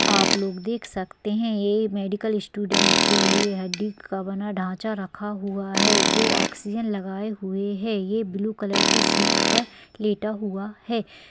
आप लोग देख सकते है ये मेडिकल स्टूडेंट के लिए हड्डी का बना ढांचा रखा हुआ है जो ऑक्सीजन लगाए हुए है ये ब्लू कलर की सीट पर लेटा हुआ है।